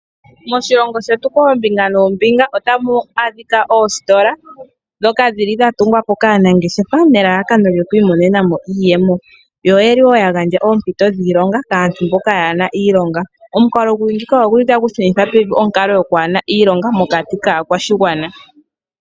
Moshilongo shetu koombinga noombinga otamu adhika oositola dhoka dhili dhatugwa po kaanangeshefa nelalakano lyokwiimonena mo iiyemo, yo oyeli wo yagandja oompito dhiilonga kaantu mboka yaana iilonga. Omukalo guli ngika oguli tagushunitha pevi onkalo yokwaana iilonga mokati kaakwashigwana.